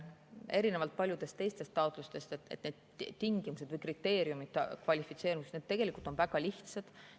Erinevalt paljudest teistest taotlustest on need tingimused või kriteeriumid kvalifitseerumiseks tegelikult väga lihtsad.